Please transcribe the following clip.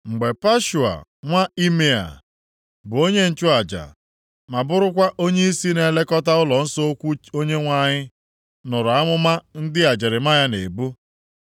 Mgbe Pashua nwa Imea, bụ onye nchụaja, ma burukwa onyeisi na-elekọta ụlọnsọ ukwu Onyenwe anyị, nụrụ amụma ndị a Jeremaya na-ebu,